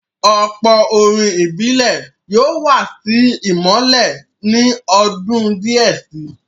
Ọ̀pọ̀ orin ìbílẹ̀ yóò wà sí ìmọ́lẹ̀ ní ọdún díẹ̀ si.